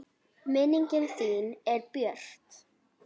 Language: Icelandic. Minning þín er björt.